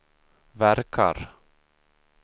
verkar